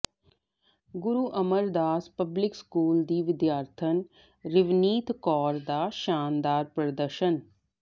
ਗੁਰੂ Amardas public school ਦੀ ਵਿਦਿਆਰਥਣ ਰਿਵਨੀਤ ਕੌਰ ਦਾ ਸ਼ਾਨਦਾਰ ਪ੍ਰਦਰਸ਼ਨ